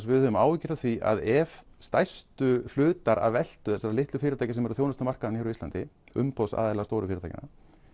við höfum áhyggjur af því að ef stærstu hlutar af veltu þessara litlu fyrirtækja sem eru að þjónusta markaðinn hér á landi umboðsaðila stóru fyrirtækjanna